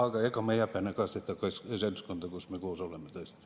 Ja ega ma ei häbene ka seda seltskonda, kus me koos oleme, tõesti.